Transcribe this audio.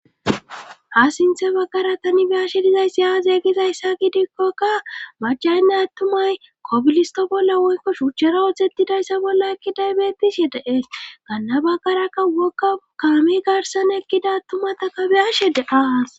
Ha sinthe baggara tani biyashe dizayssi aazeggizayssa gidikkokka macaynnay attumay kobilisto bolla woyko shuuchchara wodzettidayssa bolla ekkidaybeettishhe deees ganna baggarakka wokka ukaami garsan ekkida attumata kabiyashe deaas.